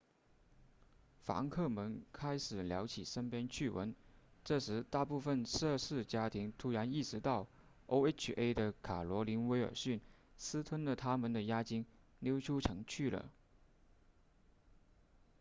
房客们开始聊起身边趣闻这时大部分涉事家庭突然意识到 oha 的卡罗琳威尔逊私吞了他们的押金溜出城去了